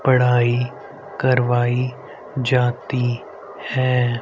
पढ़ाई करवाई जाती है।